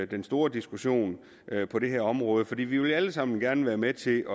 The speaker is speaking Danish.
den store diskussion på det her område for vi vil alle sammen være med med til